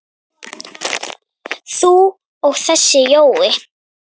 þú og þessi Jói?